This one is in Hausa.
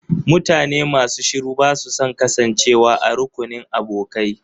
Mutane masu shiru ba su son kasancewa a rukunin abokai.